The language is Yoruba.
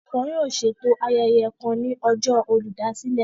Wọn yóò ṣeto ayẹyẹ kàn ní ọjọ Olùdásílẹ̀